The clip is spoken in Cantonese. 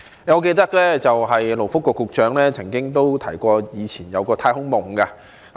我記得勞工及福利局局長曾經提過他以前有一個"太空夢"。